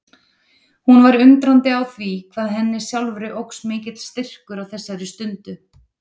Hún var undrandi á því hvað henni sjálfri óx mikill styrkur á þessari stundu.